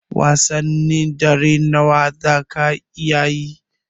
Wasannin dare nawa zaka iya yi?